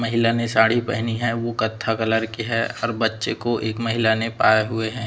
महिला ने साड़ी पहनी है उ कत्था कलर की है और बच्चे को एक महिला ने पाये हुए हैं।